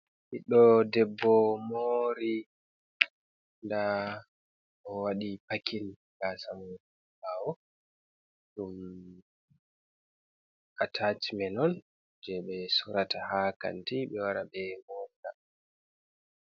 Ɓiddo debbo mori, nda o waɗi pakin gasa ɓawo, ɗum atacmenon on je ɓe sorata ha kanti ɓe wara ɓe mora.